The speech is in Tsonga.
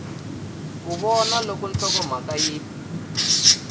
ku vona loko nhlokomhaka yi